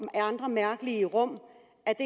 mærkelige rum